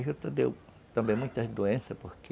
A juta deu também muitas doenças porque...